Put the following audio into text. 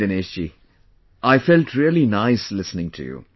Dinesh ji, I felt really nice listening to you